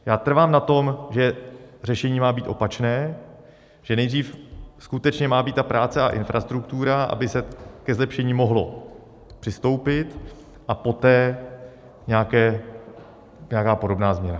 Já trvám na tom, že řešení má být opačné, že nejdřív skutečně má být ta práce a infrastruktura, aby se ke zlepšení mohlo přistoupit, a poté nějaká podobná změna.